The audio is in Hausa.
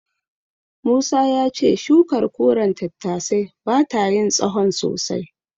Musa ya ce shukar koren tattasai bata yin tsahon sosai.